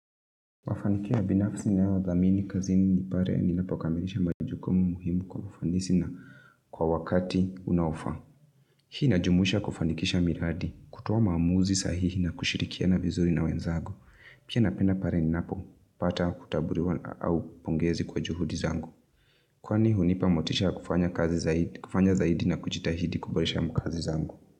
Mafanikia binafsi ni nayo dhamini kazini pale ninapokamilisha majukumu muhimu kwa ufanisi na kwa wakati unaofa. Hii ina jumuisha kufanikisha miradi kutoa maamuzi sahii kushirikiana vizuri na wenzako. Pia napenda pale ninapo pata kutaburiwa au pongezi kwa juhudi zangu. Kwani hunipa motisha kufanya zaidi na kujitahidi kuboresha mkazi zangu.